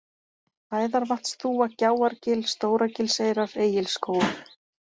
Æðarvatnsþúfa, Gjáargil, Stóragilseyrar, Egilsskógur